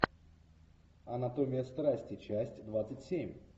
анатомия страсти часть двадцать семь